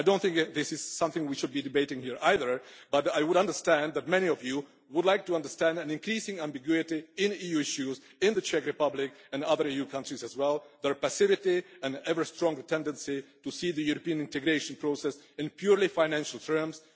I do not think this is something we should be debating here either, but I would understand that many of you would like to understand an increasing ambiguity in EU issues in the Czech Republic and other EU countries as well, their passivity and ever stronger tendency to see the European integration process in purely financial terms.